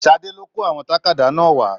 Sadé lo kó àwọn tàkádá náà wà.